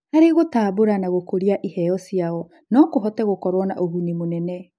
Harĩ gũtambũra na gũkũria iheo ciao no kũhote gũkorwo na ũguni mũnene.